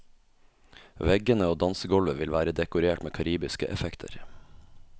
Veggene og dansegulvet vil være dekorert med karibiske effekter.